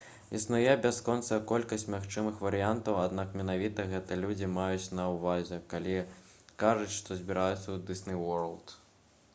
існуе бясконцая колькасць магчымых варыянтаў аднак менавіта гэта людзі маюць на ўвазе калі кажуць што «збіраюцца ў дысней уорлд»